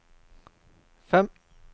fem